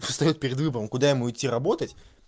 встаёт перед выбором куда ему идти работать